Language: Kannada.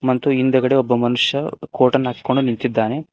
ಮತ್ತು ಹಿಂದೆಗಡೆ ಒಬ್ಬ ಮನುಷ್ಯ ಕೋಟ್ ಅನ್ನು ಹಾಕಿಕೊಂಡು ನಿಂತಿದ್ದಾನೆ.